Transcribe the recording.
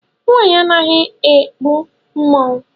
Nwaanyị anaghị ekpu mmanwụ.